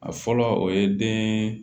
A fɔlɔ o ye den